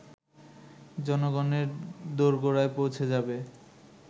জনগণের দোরগোড়ায় পৌঁছে যাবে